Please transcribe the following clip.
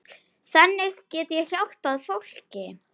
Þannig get ég hjálpað fólki.